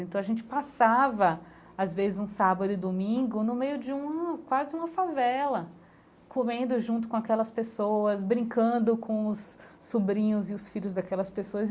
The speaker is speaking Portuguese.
Então, a gente passava, às vezes, um sábado e domingo, no meio de uma quase uma favela, comendo junto com aquelas pessoas, brincando com os sobrinhos e os filhos daquelas pessoas.